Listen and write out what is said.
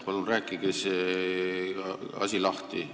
Palun rääkige see asi lahti!